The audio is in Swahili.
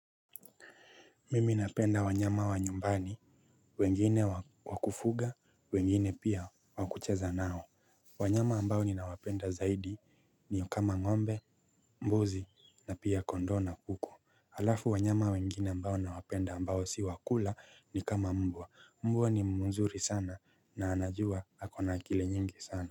Mimi napenda wanyama wa nyumbani, wengine wakufuga, wengine pia wa kucheza nao. Wanyama ambao ninawapenda zaidi ni kama ngombe, mbuzi na pia kondoo na kuku. Alafu wanyama wengine ambao na wapenda ambao si wakula ni kama mbwa. Mbwa ni mzuri sana na anajua akona akili nyingi sana.